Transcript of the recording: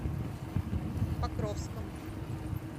покровском